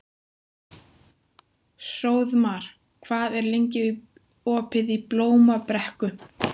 Hróðmar, hvað er lengi opið í Blómabrekku?